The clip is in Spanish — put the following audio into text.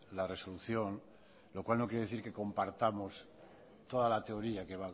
la resolución lo cual no quiere decir que compartamos toda la teoría que